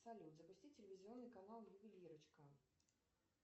салют запусти телевизионный канал ювелирочка